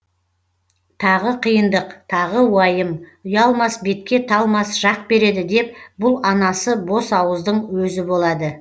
тағы қиындық тағы уайым ұялмас бетке талмас жақ береді деп бұл анасы бос ауыздың өзі болады